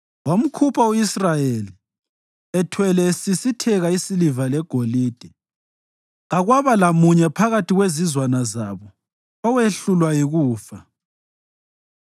Wamkhupha u-Israyeli, ethwele esisitheka isiliva legolide, kakwaba lamunye phakathi kwezizwana zabo owehlulwa yikufa.